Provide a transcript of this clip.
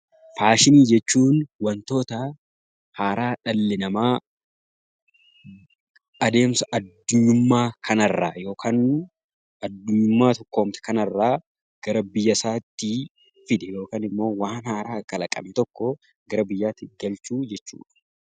Faashinii jechuun waantota haaraa dhalli namaa adeemsa adunyummaa kana irraa yookaan adunyaa tokkoomte kana irraa gara biyya isaatti fide yookaan immoo waan haaraa kalaqan tokko gara biyyaatti galchuu jechuudha.